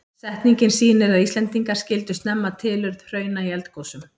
Setningin sýnir að Íslendingar skildu snemma tilurð hrauna í eldgosum.